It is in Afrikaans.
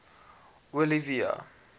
olivia